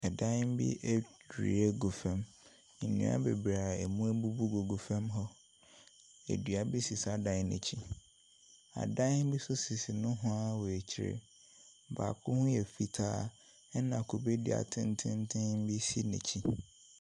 Ɛdan bi adwiri agu fam. Nnua bebree a ɛmu abubu gu fam hɔ, dua bi si saa dan no akyi. Adan bi nso sisi nohoa wɔ akyire. Baako ho yɛ fitaa, ɛna kube dua tententen bi si n'akyi.